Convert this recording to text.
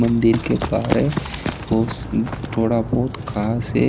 मंदिर के बहरे बहु थोड़ा बहुत घास है।